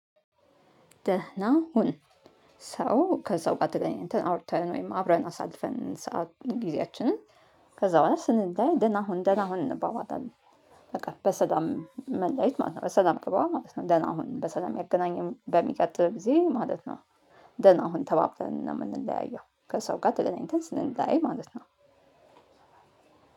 ደህና ሁን። ሰው ከስው ተገናኝተን አውርተን ወይም አብረን አሳልፈን ሰዓት ጊዜያችንን ከዛ በኋላ ስንለያይ ደህና ሁን። ደህና ሁን። እንባባላለን። በቃ በሰላም መለያየት ማለት ነው። በሰላም ግባ ማለት ነው። ደህና ሁን በሰላም ያገናኘን በሚቀጥል ጊዜ ማለት ነው። ደህና ሁን ተባብለን ነው የምንለያየው ከሰው ጋር ተገናኝተን ስንለያይ ማለት ነው።